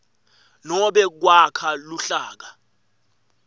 nobe kwakha luhlaka